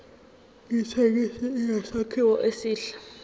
ithekisi inesakhiwo esihle